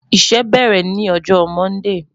Iṣẹ bẹrẹ ni ọjọ Mọndee